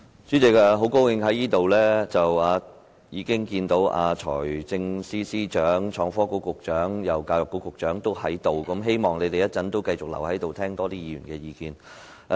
主席，很高興看到財政司司長、創新及科技局局長和教育局局長皆在席，希望他們會繼續留在席上，多聆聽議員的意見。